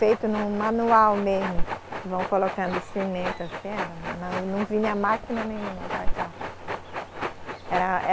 Feito num manual mesmo, que vão colocando cimento assim, não, não vinha máquina nenhuma para cá. Era, era